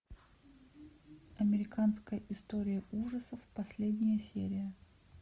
американская история ужасов последняя серия